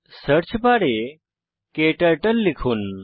search বারে ক্টার্টল লিখুন